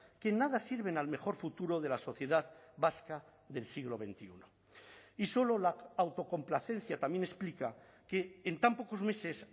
que nada sirven al mejor futuro de la sociedad vasca del siglo veintiuno y solo la autocomplacencia también explica que en tan pocos meses